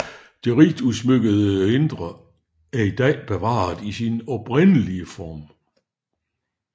Det rigt udsmykkede indre er i dag bevaret i sin oprindelige form